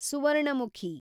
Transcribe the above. Suvarnamukhi